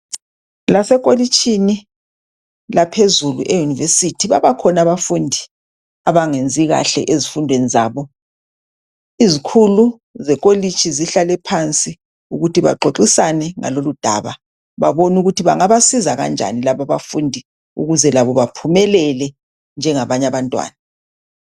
Lasekolotshini laphezulu, eUniversity, babakhona abafundi abangenzi kahle ezifundweni zabo. Izikhulu zekolitshi zihlale phansi ukuthi baxoxisane ngalol' udaba, bebone ukuthi bangabasiza kanjani laba abafundi ukuze labo baphumelele njengabanye abantwana.